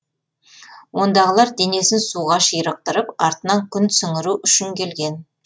ондағылар денесін суға ширықтырып артынан күн сіңіру үшін келген